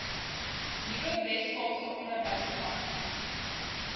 nuwe weskaapse onderwysdepartement